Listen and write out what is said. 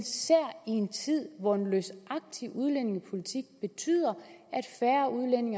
tid hvor en løsagtig udlændingepolitik betyder